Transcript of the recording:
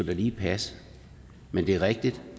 da lige passe men det er rigtigt